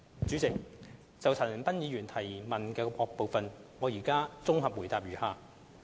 主席，就陳恒鑌議員質詢的各部分，現綜合回覆如下。